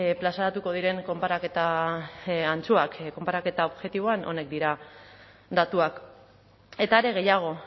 plazaratuko diren konparaketa antzuak konparaketa objektiboan honek dira datuak eta are gehiago